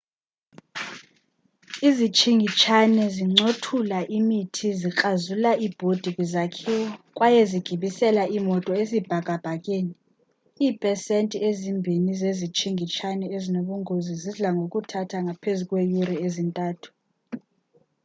izitshingitshane zincothulaa imithi zikrazula iibhodi kwizakhiwo kwaye zigibisela iimoto esibhakabhakeni iipesenti ezimbini zezitshingitshane ezinobungozi zidla ngokuthatha ngaphezu kweeyure eziyi-3